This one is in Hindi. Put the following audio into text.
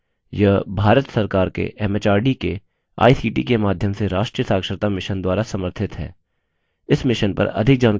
यह भारत सरकार के एमएचआरडी के आईसीटी के माध्यम से राष्ट्रीय साक्षरता mission द्वारा समर्थित है